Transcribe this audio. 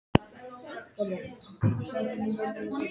Fengu Gulla með sér í staðinn fyrir hann!